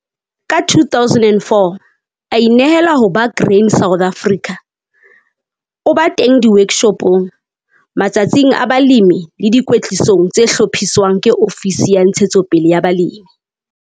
Ka 2004 a inehela ho ba Grain SA, o ba teng di-workshopong, matsatsing a balemi le dikwetlisong tse hlophiswang ke ofisi ya Ntshetsopele ya Balemi.